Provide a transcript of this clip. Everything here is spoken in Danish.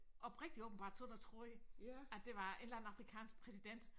Oprigtigt åbenbart siddet og troet at det var en eller anden afrikansk præsident